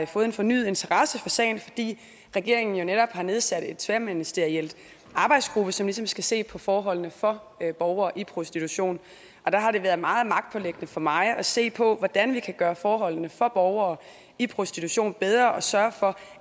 fået en fornyet interesse for sagen fordi regeringen jo netop har nedsat en tværministeriel arbejdsgruppe som ligesom skal se på forholdene for borgere i prostitution der har det været meget magtpåliggende for mig at se på hvordan vi kan gøre forholdene for borgere i prostitution bedre og sørge for